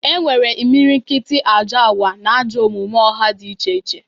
E nwere imilikiti ajọ agwa na ajọ omume ọha dị iche iche.